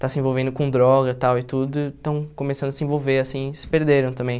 está se envolvendo com droga e tal e tudo, estão começando a se envolver, assim, se perderam também.